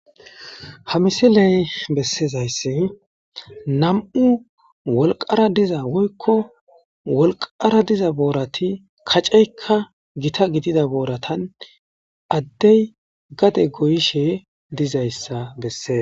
Ha misiley bessezayssi nam"u wolqara diza woykko wolqara diza boorati kaceykka gita gidida booratan addey gade goyishe dizayssa besses.